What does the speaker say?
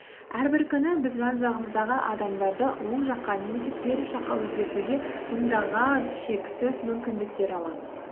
әрбір күні біз жан жағымыздағы адамдарды оң жаққа немесе теріс жаққа өзгертуге мыңдаған шексіз мүмкіндіктер аламыз